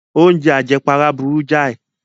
Oúnjẹ àjẹpara burú jáì.